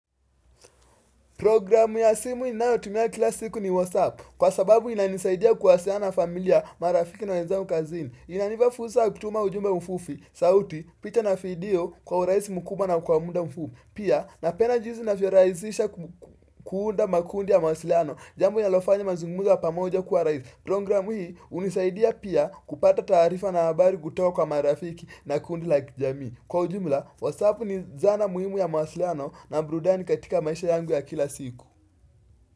Programu ya simu ninayotumia kila siku ni WhatsApp. Kwa sababu inanisaidia kuwasiliana na familia marafiki na wenzangu kazini. Inanipa fursa kutuma ujumbe mfupi, sauti, picha na video kwa urahisi mkubwa na kwa muda mfupi. Pia, napenda jinsi inavyorahisisha kuunda makundi ya mawasiliano, jambu linalofanya mazungumzo ya pamoja kuwa rahisi. Programu hii hunisaidia pia kupata tarifa na habari kutoka marafiki na kundi la kijamii. Kwa ujumla, Whatsapp ni zana muhimu ya mawasiliano na burudani katika maisha yangu ya kila siku.